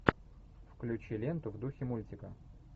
включи ленту в духе мультика